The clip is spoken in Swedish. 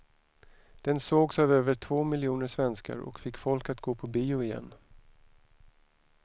Den sågs av över två miljoner svenskar och fick folk att gå på bio igen.